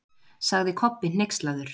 sagði Kobbi hneykslaður.